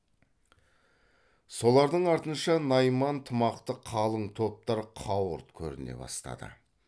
солардың артынша найман тымақты қалың топтар қауырт көріне бастады